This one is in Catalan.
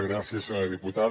gràcies senyora diputada